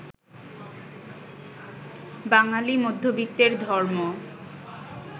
বাঙালি মধ্যবিত্তের ধর্ম